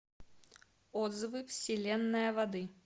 отзывы вселенная воды